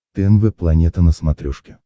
тнв планета на смотрешке